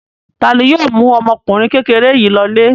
Ta ni yóò mú ọmọkùnrin kékeré yìí lọlé?